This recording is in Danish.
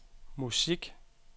musik